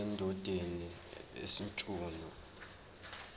endodeni sj mchunu